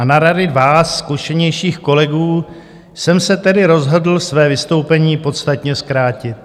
A na rady vás, zkušenějších kolegů, jsem se tedy rozhodl své vystoupení podstatně zkrátit.